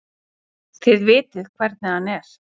Þið vitið hvernig hann er.